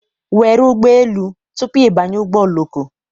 Were ụgbọ elu tupu ị banye ụgbọ oloko